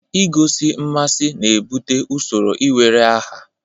Igosi mmasị na-ebute usoro iwere aha.